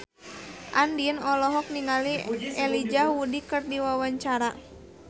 Andien olohok ningali Elijah Wood keur diwawancara